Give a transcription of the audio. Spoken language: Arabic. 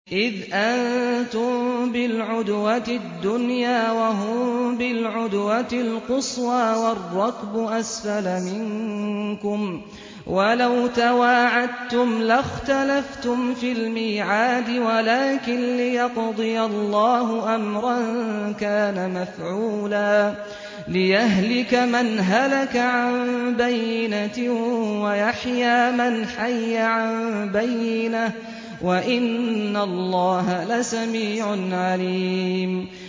إِذْ أَنتُم بِالْعُدْوَةِ الدُّنْيَا وَهُم بِالْعُدْوَةِ الْقُصْوَىٰ وَالرَّكْبُ أَسْفَلَ مِنكُمْ ۚ وَلَوْ تَوَاعَدتُّمْ لَاخْتَلَفْتُمْ فِي الْمِيعَادِ ۙ وَلَٰكِن لِّيَقْضِيَ اللَّهُ أَمْرًا كَانَ مَفْعُولًا لِّيَهْلِكَ مَنْ هَلَكَ عَن بَيِّنَةٍ وَيَحْيَىٰ مَنْ حَيَّ عَن بَيِّنَةٍ ۗ وَإِنَّ اللَّهَ لَسَمِيعٌ عَلِيمٌ